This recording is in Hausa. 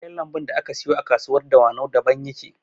Kayan lambun da aka siyo a kasuwar dawanau daban suke